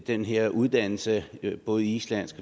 den her uddannelse i både islandsk